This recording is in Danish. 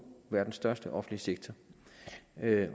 verdens største offentlige sektor